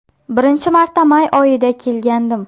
Birinchi marta may oyida kelgandim.